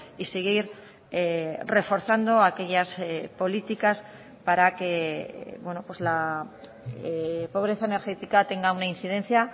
y seguir reforzando aquellas políticas para que la pobreza energética tenga una incidencia